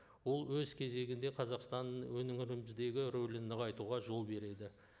ол өз кезегінде қазақстанның өңіріміздегі рөлін нығайтуға жол береді